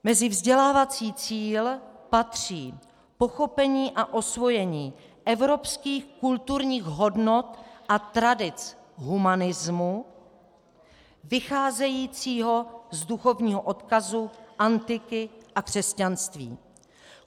Mezi vzdělávací cíl patří pochopení a osvojení evropských kulturních hodnot a tradic humanismu vycházejícího z duchovního odkazu antiky a křesťanství.